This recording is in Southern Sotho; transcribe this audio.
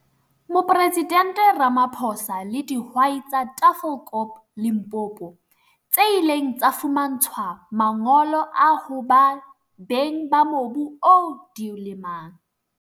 Mopresidente Ramaphosa le dihwai tsa Tafelkop, Limpopo, tse ileng tsa fumantshwa mangolo a ho ba beng ba mobu oo di o lemang.